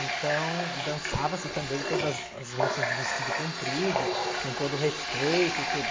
Então, dançava-se também todas as moças de vestido comprido, com todo respeito, tudo.